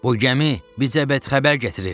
Bu gəmi bizə xəbər gətirir.